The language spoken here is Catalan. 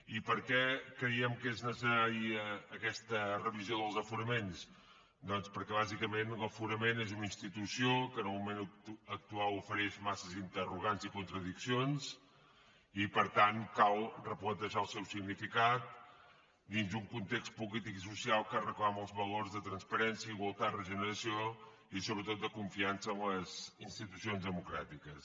i per què creiem que és necessària aquesta revisió dels aforaments doncs perquè bàsicament això de l’aforament és una institució que en el moment actual ofereix massa interrogants i contradiccions i per tant cal replantejar el seu significat dins d’un context polític i social que reclama els valors de transparència igualtat regeneració i sobretot de confiança en les institucions democràtiques